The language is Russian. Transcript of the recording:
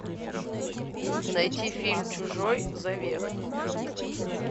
найти фильм чужой завет